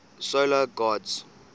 solar gods